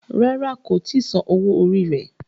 Ràrá kò tí Sàn owo orí rẹ.